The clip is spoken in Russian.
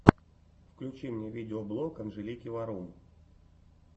включи мне видеоблог анжелики варум